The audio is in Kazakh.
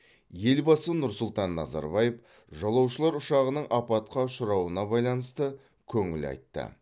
елбасы нұрсұлтан назарбаев жолаушылар ұшағының апатқа ұшырауына байланысты көңіл айтты